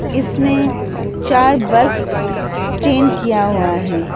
इसमें चार bus stand किया हुआ है।